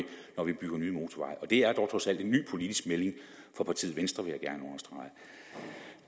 når vi bygger nye motorveje og det er dog trods alt en ny politisk melding fra partiet venstre vil